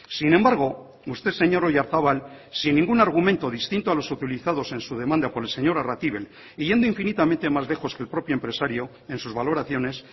sin embargo usted señor oyarzabal sin ningún argumento distinto a los utilizados en su demanda por el señor arratibel y yendo infinitamente más lejos que el propio empresario en sus valoraciones